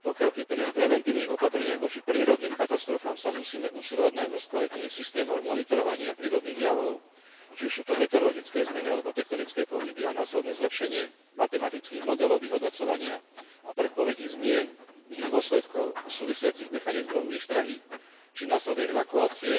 Kým pri preventívnych opatreniach voči prírodným katastrofám sa musíme usilovať najmä o skvalitnenie systémov monitorovania prírodných javov či už sú to meteorologické zmeny, alebo tektonické pohyby a následné zlepšenie matematických modelov vyhodnocovania a predpovedí zmien, ich dôsledkov a súvisiacich mechanizmov výstrahy či následnej evakuácie,